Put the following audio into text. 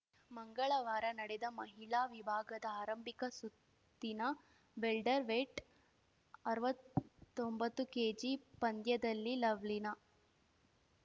ಮಂಗಳವಾರ ನಡೆದ ಮಹಿಳಾ ವಿಭಾಗದ ಆರಂಭಿಕ ಸುತ್ತಿನ ವೆಲ್ಟರ್‌ವೇಟ್‌ಅರ್ವತ್ತೊಂಬತ್ತು ಕೆಜಿಪಂದ್ಯದಲ್ಲಿ ಲವ್ಲಿನಾ